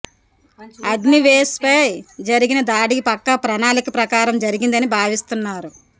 అగ్నివేష్ పై జరిగిన దాడి పక్కా ప్రణాళిక ప్రకారం జరిగిందని భావిస్తున్నారు